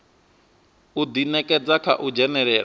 u ḓinekedza kha u dzhenelela